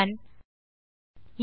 இது இன்னொரு பொதுவாக நிகழும் பிழை